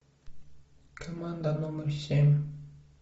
команда номер семь